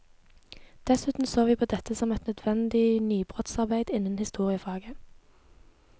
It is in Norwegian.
Dessuten så vi på dette som et nødvendig nybrottsarbeid innen historiefaget.